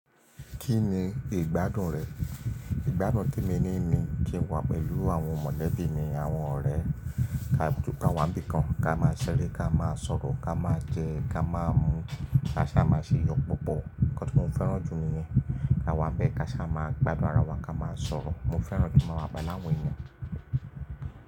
Kí ni ìgbádùn rẹ? Ìgbádùn tí mo ní ni kí n wà pẹ̀lú àwọn mọ̀lẹ́bí mi àwọn ọ̀rẹ́ ká wà bí i kan ká má a ṣeré, ká má a sọ̀rọ̀, ká má a jẹ, ká má a mu, ká sá má a ṣe iyọ̀ púpọ̀. Nǹkan tí mo fẹ́ràn jù nìyẹn. Ká wà bẹ́ẹ̀ ká sá má a gbadura wà ká má a sọ̀rọ̀. Mo fẹ́ràn kí mo má wà pẹ̀lú àwọn èèyàn.